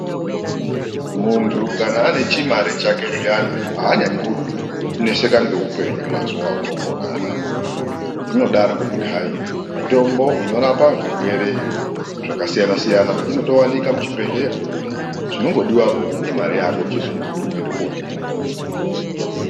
Munthu kana ane chimare chake zviyana aanyanyikuneseka ngeupenyu mazuwa otoopona anaa, zvinodaro ngekuti hai mitomboo inorapa zvirwere zvakasiyana-siyana inotowanikwa muchibhedhlera, chinogodiwapo imare yako chete yekuti uende kootenga